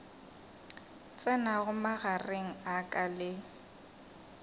tsenago magareng a ka le